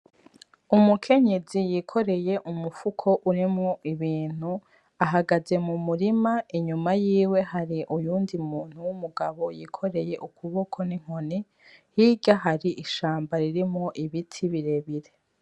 Umukenyezi yikoreye umupfuko urimwo ibintu ahagaze mu murima inyuma yiwe hari uyundi muntu w'umugabo yikoreye ukuboko n'inkoni hira hari ishamba ririmwo ibiti birebire.